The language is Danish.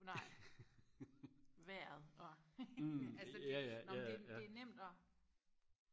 nej vejret og altså det nåmen det det er nemt og